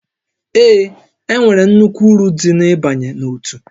Ee, e nwere nnukwu uru dị n'ịbanye n'òtù